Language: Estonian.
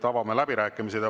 Avame läbirääkimised.